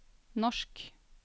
norsk